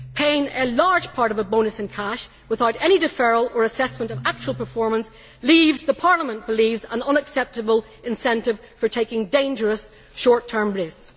Paying a large part of the bonus in cash without any deferral or assessment of actual performance leaves, the Parliament believes, an unacceptable incentive for taking dangerous short term risks.